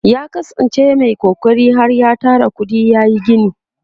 ya kasan ce Mai kokari har ya Tara kuɗi yayi gini